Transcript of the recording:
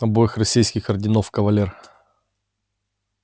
обоих российских орденов кавалер